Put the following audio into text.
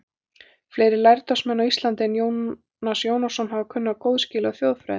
Fleiri lærdómsmenn á Íslandi en Jónas Jónasson hafa kunnað góð skil á þjóðfræði.